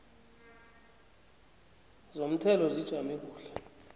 zomthelo zijame kuhle